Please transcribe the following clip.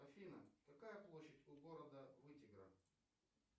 афина какая площадь у города вытегра